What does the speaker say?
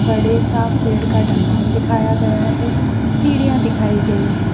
बड़े सा पेड़ का ठंगाल दिखाई दिया गया है सीढ़ियां दिखाई गई है।